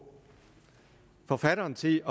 forfatteren til